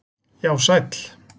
Já, sæll